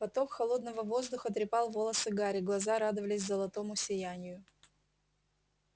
поток холодного воздуха трепал волосы гарри глаза радовались золотому сиянию